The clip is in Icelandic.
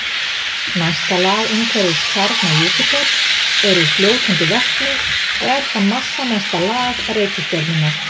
Næsta lag umhverfis kjarna Júpíters er úr fljótandi vetni og er það massamesta lag reikistjörnunnar.